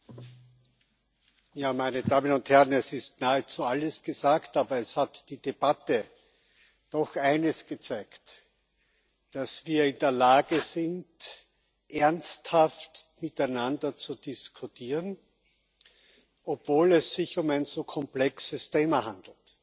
Herr Präsident, meine Damen und Herren! Es ist nahezu alles gesagt. Aber es hat die Debatte doch eines gezeigt dass wir in der Lage sind, ernsthaft miteinander zu diskutieren, obwohl es sich um ein so komplexes Thema handelt.